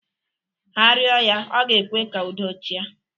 Ha rịọ ya ọ ga-ekwe ka udo chịa.